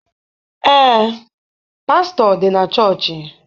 Ee, pastọ dị na chọọchị.